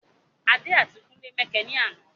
Adé àti kúnlé mẹkẹ ní àná